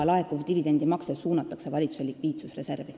Laekuv dividendimakse suunatakse valitsuse likviidsusreservi.